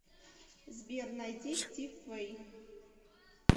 сбер найди стив вэй